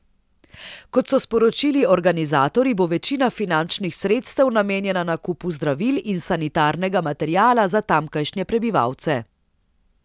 Kot so sporočili organizatorji, bo večina finančnih sredstev namenjena nakupu zdravil in sanitarnega materiala za tamkajšnje prebivalce.